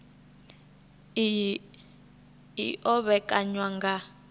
iyi i o vhekanywa nga